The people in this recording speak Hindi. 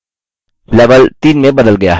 level 3 में बदल गया है